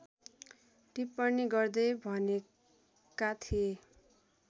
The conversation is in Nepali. टिप्पणी गर्दै भनेका थिए